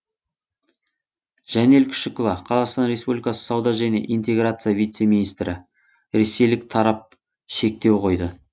жәнел күшікова қазақстан республикасы сауда және интеграция вице министрі ресейлік тарап шектеу қойды